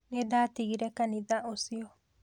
Nĩ ndatigire kanitha ũcio